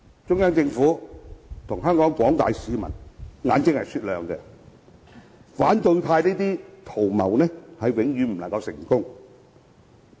中央政府和廣大香港市民的眼睛是雪亮的，反對派這些圖謀永遠不會成功。